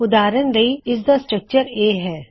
ਉਦਾਰਨ ਲਈ - ਇਸਦੀ ਬਣਾਵਟ ਇਹ ਹੈ